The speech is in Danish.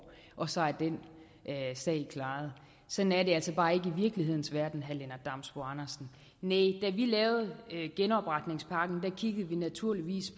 og så er den sag klaret sådan er det altså bare ikke i virkelighedens verden vil jeg vi lavede genopretningspakken kiggede vi naturligvis